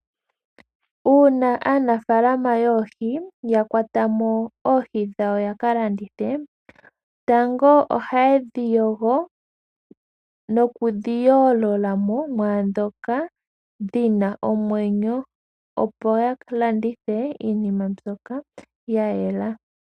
Uuna aanafaalama yoohi ya kwata mo oohi dhawo ya ka landithe tango oha ye dhi yogo nokudhi yoolola mumwe naandhoka dhina omwenyo opo ya landithe oohi dha yela.